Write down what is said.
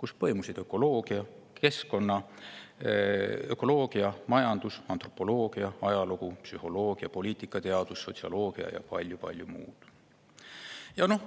kus põimusid ökoloogia, keskkonnaökoloogia, majandus, antropoloogia, ajalugu, psühholoogia, poliitikateadus, sotsioloogia ja palju-palju muud.